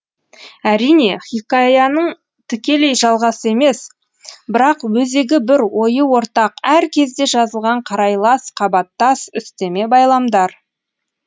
әрине хикаяның тікелей жалғасы емес бірақ өзегі бір ойы ортақ әр кезде жазылған қарайлас қабаттас үстеме байламдар